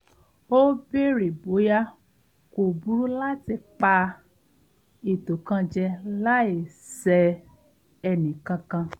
ó bèèrè bóyá kò burú láti pa ètò kan jẹ láì ṣẹ ẹnìkankan